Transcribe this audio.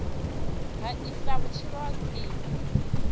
ha isa vhutshilo ha khwine